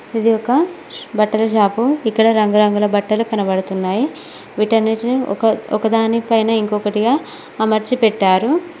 ఇది ఒక బట్టల షాపు ఇక్కడ రంగు రంగుల బట్టలు కనబడుతున్నాయి వీటన్నిటిని ఒక ఒకదాని పైన ఇంకొకటిగా అమర్చి పెట్టారు.